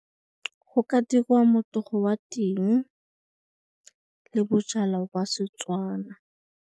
Go ka dirwa motogo wa ting le bojalwa jwa Setswana.